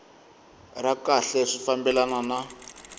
ra kahle swi fambelana na